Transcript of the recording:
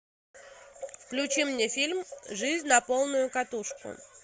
включи мне фильм жизнь на полную катушку